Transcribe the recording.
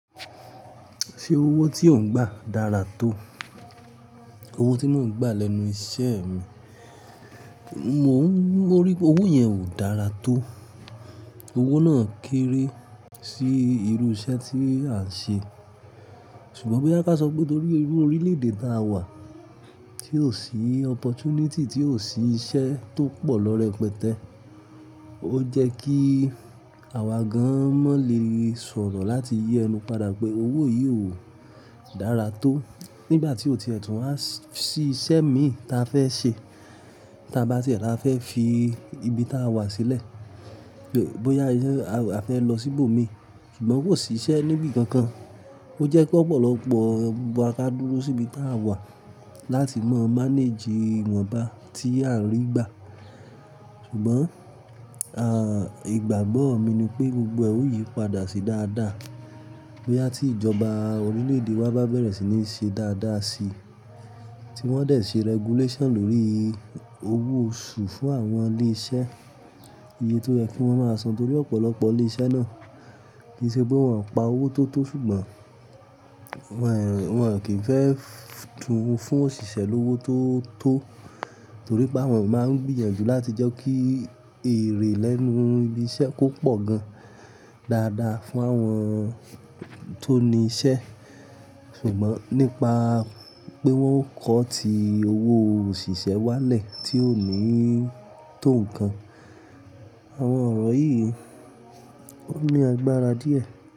Ṣé owó tí ò ń gbà dára tó? Owó tí mò ń gbà lẹ́nu iṣẹ́ mi, mò ń rí pé owó yẹn ò dára tó. Owó náà kéré sí irú iṣẹ́ tí à ń ṣe. Ṣùgbọ́n bóyá ká sọ pé torí irú orílẹ̀-èdè táa wà tí ò sí opportunity, tí ò sí iṣẹ́ tó pọ̀ lọ́rẹ pẹtẹ́. Ó jẹ́ kí àwa gan-an mọ́ lè sọ̀rọ̀ láti yẹnu padà pé owó yìí ò dára tó. Nígbà tí ó ti ẹ̀tùú, a ṣí iṣẹ́ mi ta fẹ́ ṣe. Tí a bá ti ràá fẹ́ fi ibi táa wà sílẹ̀. Bóyá a fẹ́ lọ síbò mi, ṣùgbọ́n kò sí iṣẹ́ níbí kankan. Ó jẹ́ pé ọ̀pọ̀lọpọ̀ gbogbo wa ká dúró sí ibi táa wà láti mọ́ manage ìwọ̀nba tí à ń rí gbà. Ṣùgbọ́n, à, ìgbàgbọ́ mi ni pé gbogbo e o yìí padà sí dáadáa. Bóyá tí ìjọba orílẹ̀-èdè wa bá bẹ̀rẹ̀ sí ní ṣe dáadáa si, tí wọ́n dẹ̀ ṣe regulation lórí owó oṣù fún àwọn ilé iṣẹ́. Iye tó yẹ kí wọ́n máa san torí ọ̀pọ̀lọpọ̀ ilé iṣẹ́ náà kì í ṣe pé wọ́n pa owó tó tó ṣùgbọ́n wọ́n, wọ́n kì í fẹ́ tún fún òṣìṣẹ́ lówó tó tó torí pé àwọn máa ń gbìyànjú láti jẹ́ kí èrè lẹ́nu ibi iṣẹ́ kó pọ̀ gan-an dáadáa fún àwọn tó ní iṣẹ́. Ṣùgbọ́n nípa pé wọ́n kó ti owó òṣìṣẹ́ wálẹ̀ tí ò ní tó nǹkan, àwọn ọ̀rọ̀ yìí ó ní agbára díẹ̀.